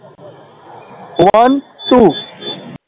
One two